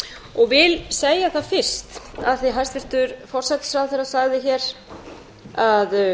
og vil segja það fyrst af því að hæstvirtur forsætisráðherra sagði að